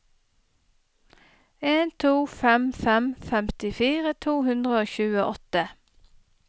en to fem fem femtifire to hundre og tjueåtte